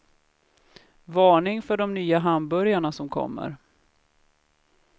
Varning för de nya hamburgarna som kommer.